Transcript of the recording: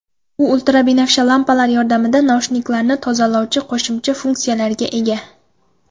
U ultrabinafsha lampalar yordamida naushniklarni tozalovchi qo‘shimcha funksiyaga ega.